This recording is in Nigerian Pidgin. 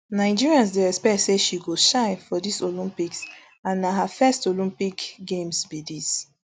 nigerians dey expect say she go shine for dis olympics and na her first olympic games be dis